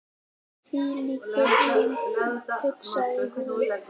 Hvílík byrjun, hugsaði hann.